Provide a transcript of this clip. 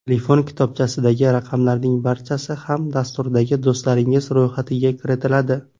Telefon kitobchasidagi raqamlarning barchasi ham dasturdagi do‘stlaringiz ro‘yxatiga kiritiladi.